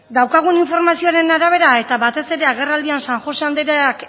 daukagun informazioaren arabera eta batez ere agerraldian san josé andereak